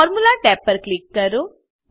formula tab પર click કરો